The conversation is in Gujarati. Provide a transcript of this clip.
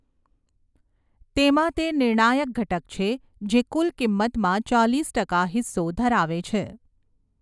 તેમાં તે નિર્ણાયક ઘટક છે, જે કુલ કિંમતમાં ચાલીસ ટકા હિસ્સો ધરાવે છે.